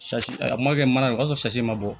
a ma kɛ mana ye o y'a sɔrɔ ma bɔ